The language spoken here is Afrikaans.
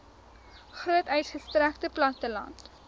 groot uitgestrekte platteland